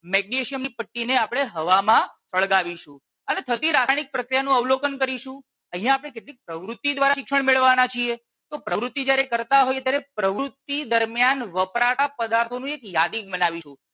Magnesium ની પટ્ટી ને આપણે હવામાં સળગાવીશું અને થતી રાસાયણિક પ્રક્રિયાનું અવલોકન કરીશું અહિયાં આપણે કેટલીક પ્રવૃતિ દ્વારા શિક્ષણ મેળવવાના છીએ. તો પ્રવૃતિ જ્યારે કરતાં હોઈએ ત્યારે પ્રવૃતિ દરમિયાન વપરાતા પદાર્થો નું એક યાદી બનાવીશું